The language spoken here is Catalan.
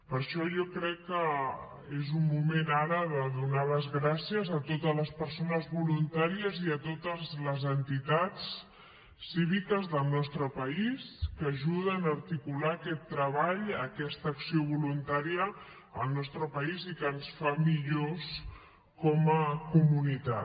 per això jo crec que és un moment ara de donar les gràcies a totes les persones voluntàries i a totes les entitats cíviques del nostre país que ajuden a articular aquest treball aquesta acció voluntària al nostre país i que ens fa millors com a comunitat